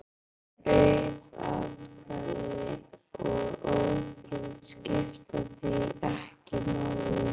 Auð atkvæði og ógild skipta því ekki máli.